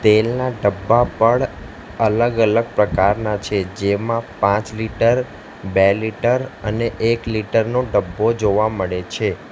તેલના ડબ્બા પણ અલગ અલગ પ્રકાર ના છે જેમાં પાંચ લિટર બે લિટર અને એક લિટર નો ડબ્બો જોવા મળે છે.